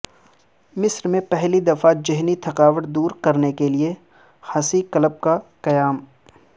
مصرمیں پہلی دفعہ ذہنی تھکاوٹ دور کرنے کے لیے ہنسی کلب کا قیام